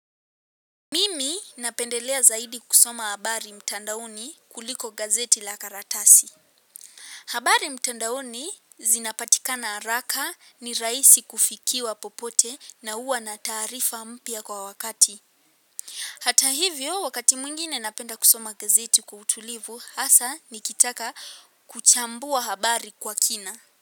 Mimi napendelea zaidi kusoma habari mtandaoni kuliko gazeti la karatasi. Habari mtandaoni zinapatikana araka ni raisi kufikiwa popote na uwa na taarifa mpya kwa wakati. Hata hivyo wakati mwingine napenda kusoma gazeti kwa utulivu hasa nikitaka kuchambua habari kwa kina.